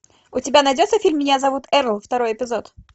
у тебя найдется фильм меня зовут эрл второй эпизод